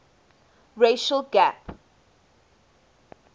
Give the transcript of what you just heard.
racial gap